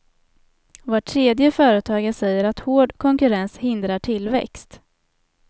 Var tredje företagare säger att hård konkurrens hindrar tillväxt.